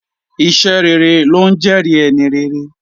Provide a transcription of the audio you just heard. Iṣẹ́ rere ló ńjẹ́ẹ̀rí ẹni rere.